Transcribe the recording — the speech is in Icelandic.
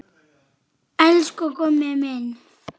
Elsku Gummi minn.